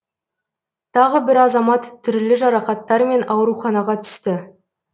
тағы бір азамат түрлі жарақаттармен ауруханаға түсті